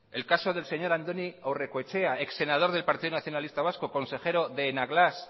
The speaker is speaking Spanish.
el caso del señor andoni aurrekoetxea ex senador del partido nacionalista vasco consejero de enagás